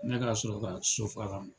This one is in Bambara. Ne ka sɔrɔ ka so fa ka na.